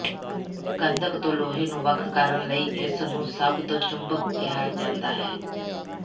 ਗੰਧਕ ਤੋਂ ਲੋਹੇ ਨੂੰ ਵੱਖ ਕਰਨ ਲਈ ਇਸ ਨੂੰ ਸਭ ਤੋਂ ਚੁੰਬਕ ਕਿਹਾ ਜਾਂਦਾ ਹੈ